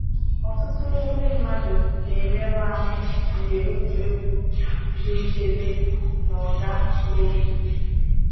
Ọtụtụ ndị mmadụ na-emerụ ahụ mgbe egwuregwu dị nchebe na-aga n’oké.